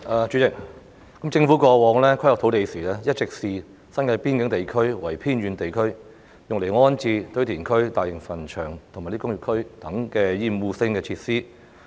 主席，政府過往在規劃土地時，一直視新界邊境地區為偏遠地區，用來安置堆填區、大型墳場及工業區等厭惡性設施。